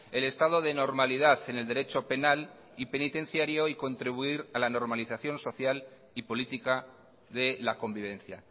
el estado de normalidad en el derecho penal y penitenciario y contribuir a la normalización social y política de la convivencia